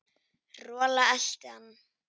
Rola elti hann.